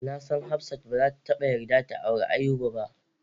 Nasan hafsat bazata taba yarda ta auren Ayuba ba.